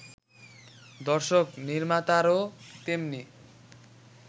দর্শক-নির্মাতারাও তেমনি